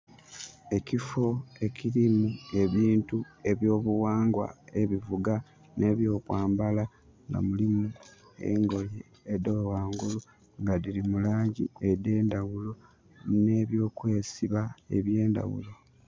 Ekifo ekirimu ebintu ebyo bughangwa ebivuga ne byo kwambala nga mulimu engoye edha ghangulu nga dhiri mulangi edhe ndhaghulo ne byo kwesiba ebye ndhaghulo.